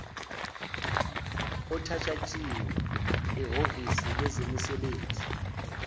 othatshathiwe ehhovisini lezemisebenzi